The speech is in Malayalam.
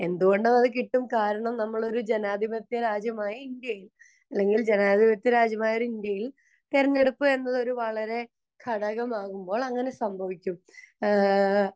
പൂർണ്ണമായി കിട്ടും കാരണം നമ്മളൊരു ജനാതിപത്യ രാജ്യമായ ഇന്ത്യയിൽ തിരഞ്ഞെടുപ്പ് വരുന്നത് ഒരു ഘടകമാവുമ്പോൾ അങ്ങനെയൊക്കെ സംഭവിക്കും